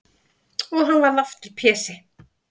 Og hann varð aftur Pési.